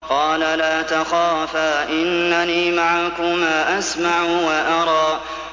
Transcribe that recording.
قَالَ لَا تَخَافَا ۖ إِنَّنِي مَعَكُمَا أَسْمَعُ وَأَرَىٰ